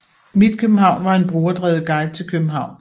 mitKBH var en brugerdrevet guide til København